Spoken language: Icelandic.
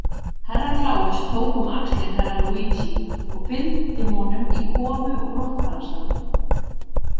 Herra Kláus tók um axlir Herra Luigi og fylgdi honum í komu og brottfararsalinn.